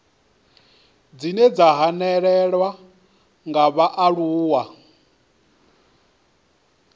dzine dza hanelelwa nga vhaaluwa